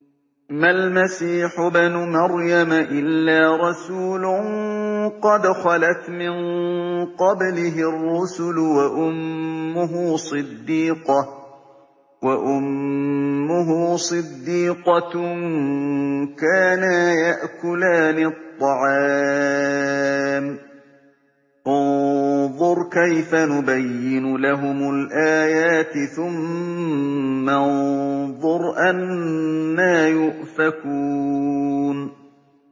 مَّا الْمَسِيحُ ابْنُ مَرْيَمَ إِلَّا رَسُولٌ قَدْ خَلَتْ مِن قَبْلِهِ الرُّسُلُ وَأُمُّهُ صِدِّيقَةٌ ۖ كَانَا يَأْكُلَانِ الطَّعَامَ ۗ انظُرْ كَيْفَ نُبَيِّنُ لَهُمُ الْآيَاتِ ثُمَّ انظُرْ أَنَّىٰ يُؤْفَكُونَ